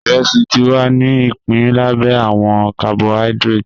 Iresi ti wa ni ipin labẹ awọn carbohydrates